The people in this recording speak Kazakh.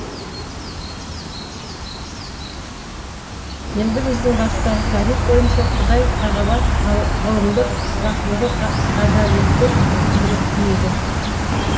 енді біздің бастағы тағриф бойынша құдай тағала ғылымды рахымды ғадаләтті құдіретті еді